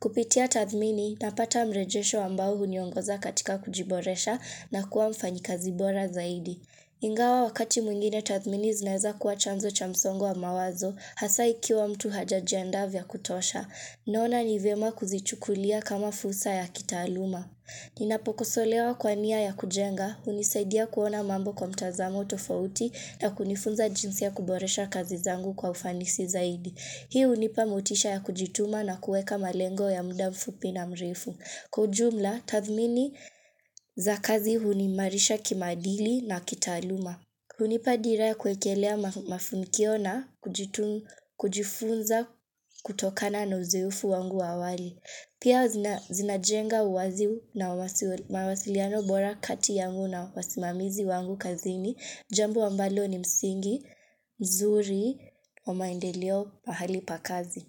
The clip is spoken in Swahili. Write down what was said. Kupitia tathmini, napata mrejesho ambao huniongoza katika kujiboresha na kuwa mfanyikazi bora zaidi. Ingawa wakati mwingine tathmini zinaeza kuwa chanzo cha msongo wa mawazo, hasa ikiwa mtu hajajiandaa vya kutosha. Naona ni vyema kuzichukulia kama fursa ya kitaaluma. Ninapokosolewa kwa nia ya kujenga, hunisaidia kuona mambo kwa mtazamo tofauti na kunifunza jinsi ya kuboresha kazi zangu kwa ufanisi zaidi. Hii hunipa motisha ya kujituma na kuweka malengo ya muda mfupi na mrefu. Kwa ujumla, tathmini za kazi huniimarisha kimaadili na kitaaluma. Hunipa dira ya kuwekelea mafunikio na kujifunza kutokana na uzoefu wangu wa awali. Pia zinajenga uwazi na mawasiliano bora kati yangu na wasimamizi wangu kazini. Jambo ambalo ni msingi, mzuri, wa maendeleo, pahali pa kazi.